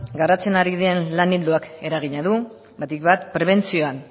garatzen ari den lan ildoak eragina du batik bat prebentzioan